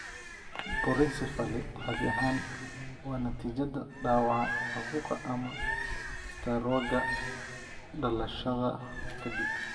Porencephaly caadi ahaan waa natiijada dhaawaca caabuqa ama istaroogga dhalashada ka dib.